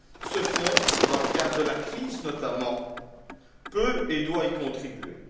Ce fonds, dans le cadre de la crise notamment, peut et doit y contribuer.